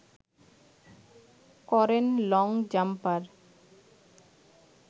করেন long jumper